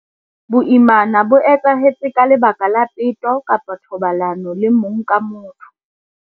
Boimana bo etsahetse ka lebaka la peto kapa thobalano le mong ka motho.